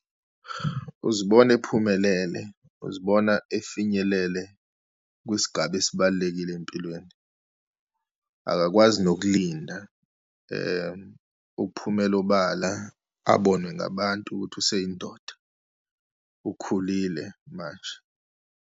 Uzibona ephumelele, uzibona efinyelele kwisigaba esibalulekile empilweni, akakwazi nokulinda ukuphumela obala abonwe ngabantu ukuthi useyindoda, ukhulile manje.